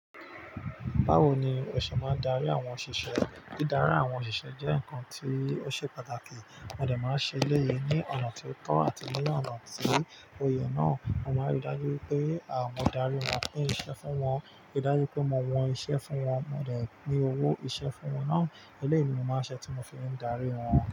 Báwo ni ò ṣè má ń darí àwọn òṣìṣẹ́? Dídarí àwọn òṣìṣẹ́ jẹ́ ǹkan tí ó ṣe pàtàkì. Mò dẹ máa ń ṣe eléyii ní ọ̀nà ti o tọ́ àti ní ọ̀nà tí ó yẹ. Náà, mo máa ń rí dájú wipé mo darí wọn pin iṣẹ́ fún wọn, rí dájú pé mo wọn iṣẹ́ fún wọn. Mò de pin owó iṣẹ́ fún wọn náà. Eléyii ni mo má ń ṣe tí mo fi ń darí wọn.